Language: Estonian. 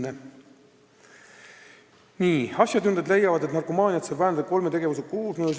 Teine küsimus: "Asjatundjad leiavad, et narkomaaniat saab vähendada kolme tegevuse koosmõjus.